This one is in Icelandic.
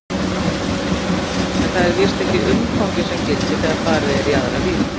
En það er víst ekki umfangið sem gildir þegar farið er í aðra vídd.